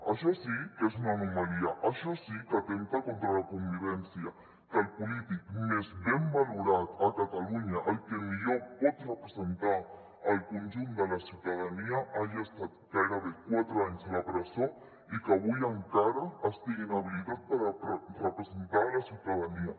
això sí que és una anomalia això sí que atempta contra la convivència que el polític més ben valorat a catalunya el que millor pot representar el conjunt de la ciutadania hagi estat gairebé quatre anys a la presó i que avui encara estigui inhabi·litat per representar la ciutadania